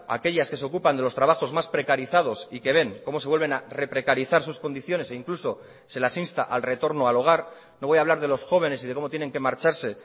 aquellas que se ocupan de los trabajos más precarizados y que ven como se vuelven a reprecarizar sus condiciones e incluso se las insta al retorno al hogar no voy a hablar de los jóvenes y de cómo tienen que marcharse